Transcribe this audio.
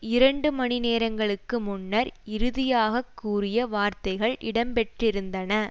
இரண்டு மணி நேரங்களுக்கு முன்னர் இறுதியாக கூறிய வார்த்தைகள் இடம் பெற்றிருந்தன